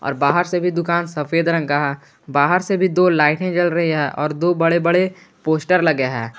बाहर से भी दुकान सफेद रंग का है बाहर से भी दो लाइटें जल रही है और दो बड़े बड़े पोस्टर लगे हैं।